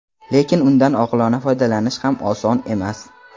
lekin undan oqilona foydalanish ham oson emas.